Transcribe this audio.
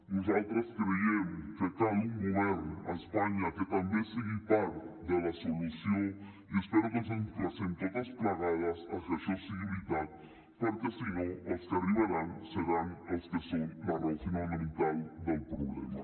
nosaltres creiem que cal un govern a espanya que també sigui part de la solució i espero que ens emplacem totes plegades a que això sigui veritat perquè si no els que arribaran seran els que són la raó fonamental del problema